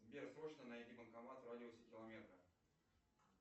сбер срочно найди банкомат в радиусе километра